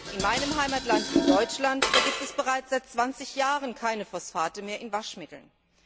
In meinem Heimatland Deutschland gibt es bereits seit zwanzig Jahren keine Phosphate mehr in Waschmitteln.